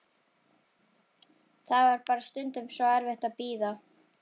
Það var bara stundum svo erfitt að bíða.